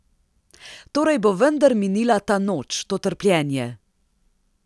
Torej bo vendar minila ta noč, to trpljenje!